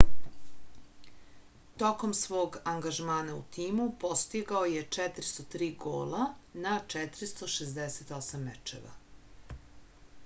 tokom svog angažmana u timu postigao je 403 gola na 468 mečeva